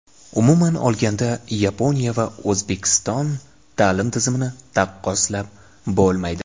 Umuman olganda, Yaponiya va O‘zbekiston ta’lim tizimini taqqoslab bo‘lmaydi.